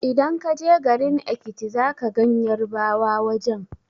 Idan ka je garin Ekiti za ka gan Yarbawa wajen